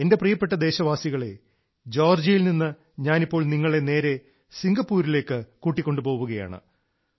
എന്റെ പ്രിയപ്പെട്ട ദേശവാസികളേ ജോർജിയയിൽ നിന്ന് ഞാനിപ്പോൾ നിങ്ങളെ നേരെ സിംഗപ്പൂരിലേക്ക് കൂട്ടിക്കൊണ്ടു പോവുകയാണ്